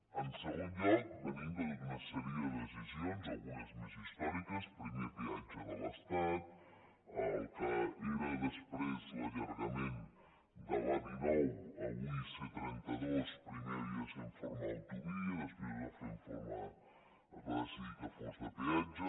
en segon lloc venim de tota una sèrie de decisions algunes més històriques primer peatge de l’estat el que era després l’allargament de l’a dinou avui c trenta dos primer havia de ser en forma d’autovia després es va decidir que fos de peatge